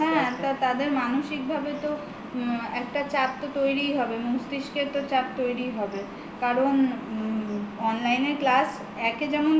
হ্যা তাদের মানসিক ভাবে তো একটা চাপ তৈরিই হবে মস্তিস্কে তো চাপ তৈরিই হবে কারণ online এ class একে যেমন